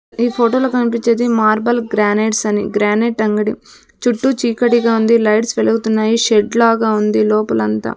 ఈ ఫోటోలో కనిపిచేది మార్బల్ గ్రానైట్స్ అని గ్రానైట్ అంగడి చుట్టూ చీకటిగా ఉంది లైట్స్ వెలుగుతున్నాయి షెడ్ లాగ ఉంది లోపల అంతా.